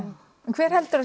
hver heldur